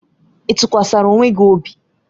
Ị tụkwasara onwe gị obi?